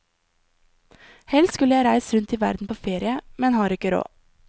Helst skulle jeg reist rundt i verden på ferie, men har ikke råd.